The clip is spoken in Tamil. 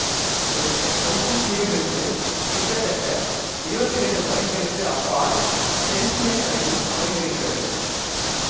இது ஹொங்கொங் தீவில் இருந்து கிட்டத்தட்ட இருவத்தி இரண்டு மைல்களுக்கு அப்பால் தென்சீனக் கடலில் அமைந்திருந்தது